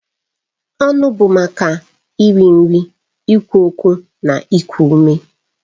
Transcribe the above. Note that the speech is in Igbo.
Ọnụ bụ maka iri nri, ikwu okwu na iku ume.